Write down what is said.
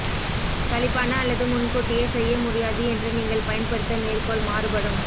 சலிப்பான அல்லது முன்கூட்டியே செய்ய முடியாது என்று நீங்கள் பயன்படுத்த மேற்கோள் மாறுபடும்